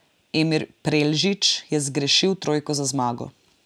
Emir Preldžić je zgrešil trojko za zmago.